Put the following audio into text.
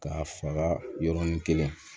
K'a faga yɔrɔnin kelen